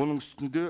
оның үстінде